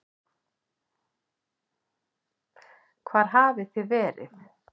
Hvar hafið þið verið?